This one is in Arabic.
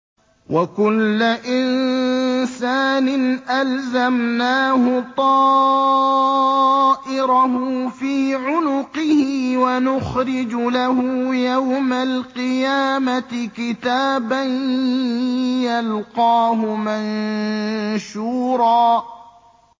وَكُلَّ إِنسَانٍ أَلْزَمْنَاهُ طَائِرَهُ فِي عُنُقِهِ ۖ وَنُخْرِجُ لَهُ يَوْمَ الْقِيَامَةِ كِتَابًا يَلْقَاهُ مَنشُورًا